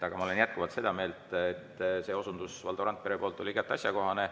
Aga ma olen jätkuvalt seda meelt, et see osundus Valdo Randpere poolt oli asjakohane.